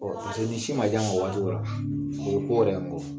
Ɔ o tɛ ni sin ma di a ma waati la dun? O ye ko yɛrɛ